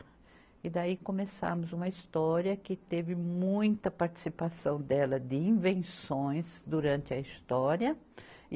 E daí começamos uma história que teve muita participação dela de invenções durante a história. e